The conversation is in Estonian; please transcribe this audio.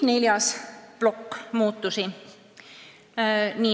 Neljas plokk muudatusi.